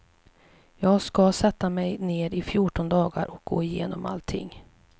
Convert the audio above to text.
Jag ska sätta mig ned i fjorton dagar och gå igenom allting.